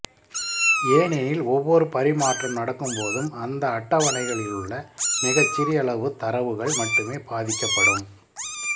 ஏனெனில் ஒவ்வொரு பரிமாற்றம் நடக்கும்போதும் அந்த அட்டவணைகளிலுள்ள மிகச்சிறியளவு தரவுகள் மட்டுமே பாதிக்கப்படும்